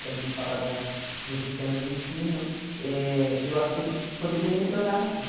Quando a gente fala da do sistema de ensino, eh eu acho que ele poderia melhorar, sim.